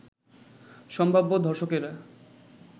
সম্ভাব্য ধর্ষকেরা